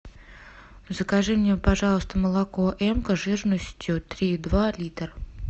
закажи мне пожалуйста молоко эмка жирностью три и два литр